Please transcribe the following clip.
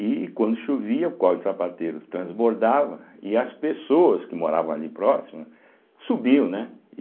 E quando chovia o Córrego do Sapateiro transbordava e as pessoas que moravam ali próximas subiam, né?